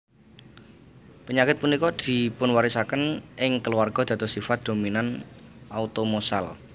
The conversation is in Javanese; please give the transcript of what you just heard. Pényakit punika dipunwarisakén ing keluarga dados sifat dominan automosal